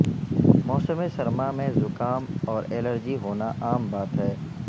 موسم سرما میں زکام اور الرجی ہونا عام بات ہے